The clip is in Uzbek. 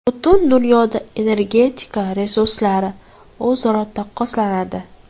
Butun dunyoda energetika resurslari o‘zaro taqqoslanadi.